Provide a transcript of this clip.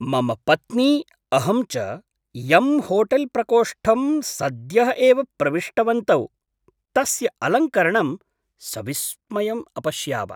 मम पत्नी, अहं च यं होटेल्प्रकोष्ठं सद्यः एव प्रविष्टवन्तौ तस्य अलङ्करणं सविस्मयम् अपश्याव।